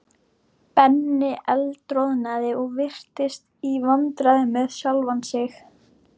Benni eldroðnaði og virtist í vandræðum með sjálfan sig.